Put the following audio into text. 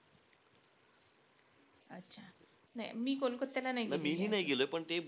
नाही. मी कोलकात्याला नाई गेलेय